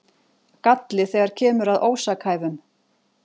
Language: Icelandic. Galli þegar kemur að ósakhæfum